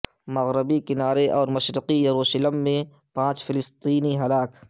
مغربی کنارے اور مشرقی یروشلم میں پانچ فلسطینی ہلاک